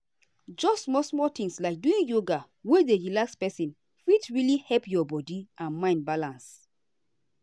just small-small things like doing yoga wey dey relax person fit really help your body and mind balance.